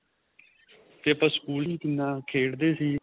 ਤੇ ਆਪਾਂ school ਚ ਵੀ ਕਿੰਨਾ ਖੇਡਦੇ ਸੀ